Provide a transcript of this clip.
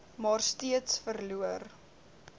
maar steeds verloor